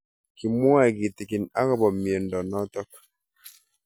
Kimwae kitig'in akopo miondo notok